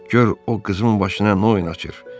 Gör o qızımın başına nə oyun açır.